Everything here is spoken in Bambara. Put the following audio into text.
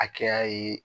Hakɛya ye